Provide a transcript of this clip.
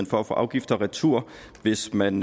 for at få afgifter retur hvis man